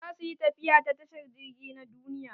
Za su yi tafiya ta tashar jirgi na duniya.